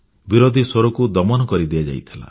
ବିରୋଧୀ ସ୍ୱରକୁ ଦମନ କରି ଦିଆଯାଇଥିଲା